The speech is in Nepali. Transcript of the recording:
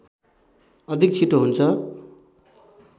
अधिक छिटो हुन्छ